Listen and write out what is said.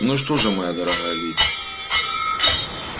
ну что же моя дорогая леди